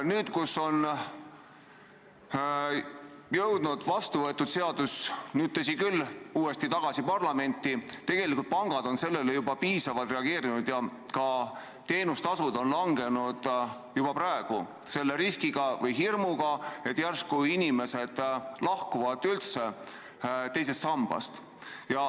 Nüüd, kus vastuvõetud seadus on tagasi parlamenti jõudnud, on pangad tegelikult juba piisavalt reageerinud ja teenustasusid vähendanud, tajudes riski ja tundes hirmu, et äkki inimesed muidu lahkuvad teisest sambast.